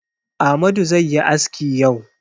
Amadu zai yi aski yau.